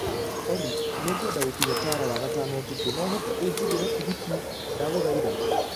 olly Nĩ ngwenda gũkinya tala wagatano ũtukũ no ũhote ũnjigĩre tigitĩ ndagũthaitha